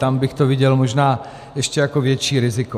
Tam bych to viděl možná ještě jako větší riziko.